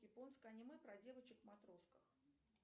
японское аниме про девочек в матросках